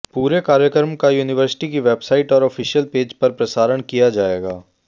पूरे कार्यक्रम का यूनिवर्सिटी की वेबसाइट और ऑफिशियल पेज पर प्रसारण किया जाएगा